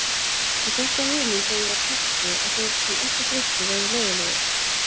Ég fékk þá hugmynd þegar ég var krakki að þeir sem ekki drykkju væru leiðinlegir.